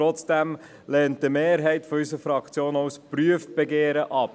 Trotzdem lehnt eine Mehrheit unserer Fraktion auch ein Prüfbegehren ab.